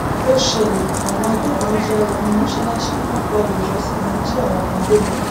ó ṣẹlẹ àwọn agbébọn yà wọnú mọṣáláṣí wọn pa olùjọsìn wọn jí àwọn kan gbé lọ